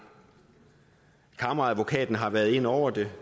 kammeradvokaten har været inde over det